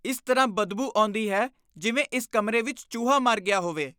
ਇਸ ਤਰ੍ਹਾਂ ਬਦਬੂ ਆਉਂਦੀ ਹੈ ਜਿਵੇਂ ਇਸ ਕਮਰੇ ਵਿੱਚ ਚੂਹਾ ਮਰ ਗਿਆ ਹੋਵੇ।